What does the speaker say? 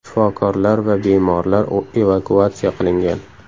Shifokorlar va bemorlar evakuatsiya qilingan.